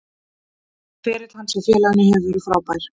Ferill hans hjá félaginu hefur verið frábær.